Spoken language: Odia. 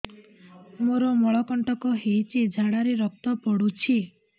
ମୋରୋ ମଳକଣ୍ଟକ ହେଇଚି ଝାଡ଼ାରେ ରକ୍ତ ପଡୁଛି